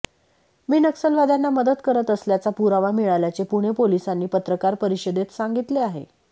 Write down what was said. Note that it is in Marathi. मी नक्षलवाद्यांना मदत करत असल्याचा पुरावा मिळाल्याचे पुणे पोलिसांनी पत्रकार परिषदेत सांगितले आहे